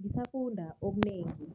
ngisafunda okunengi.